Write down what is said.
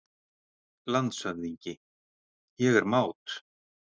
LANDSHÖFÐINGI: Ég er mát!